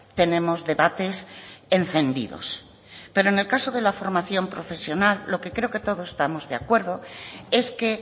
tenemos debates encendidos pero en el caso de la formación profesional lo que creo que todos estamos de acuerdo es que